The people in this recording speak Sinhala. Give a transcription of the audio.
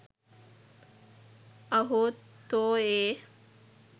අහෝ තෝ ඒ